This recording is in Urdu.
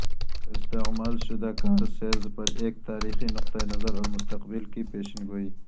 استعمال شدہ کار سیلز پر ایک تاریخی نقطہ نظر اور مستقبل کی پیشن گوئی